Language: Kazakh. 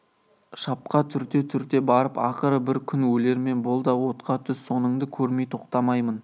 шапқа түрте-түрте барып ақыры бір күн өлермен бол да отқа түс соныңды көрмей тоқтамаймын